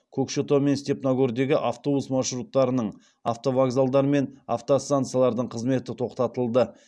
көкшетау мен степногордегі автобус маршруттарының автовокзалдар мен автостанциялардың қызметі тоқтатылды